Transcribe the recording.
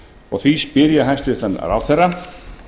og því spyr ég hæstvirtan ráðherra